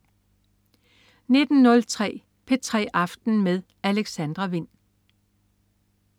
19.03 P3 aften med Alexandra Wind